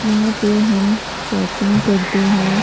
यहां पे हम श शॉपिंग करते हैं।